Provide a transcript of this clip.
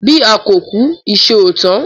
Bí a kò kú, ìṣe ò tán.